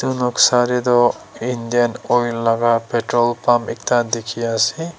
etu noksa dae tuh Indiane Oil laga petrol pump ekta dekhey ase.